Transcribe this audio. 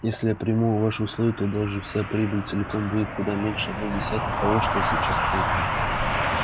если я приму ваши условия то даже вся прибыль целиком будет куда меньше одной десятой того что я сейчас получу